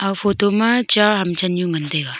photo ma cha ham chan nyu ngan taiga.